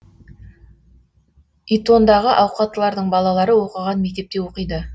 итондағы ауқаттылардың балалары оқыған мектепте оқиды